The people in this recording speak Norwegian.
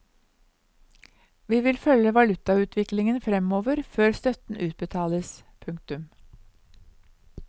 Vi vil følge valutautviklingen fremover før støtten utbetales. punktum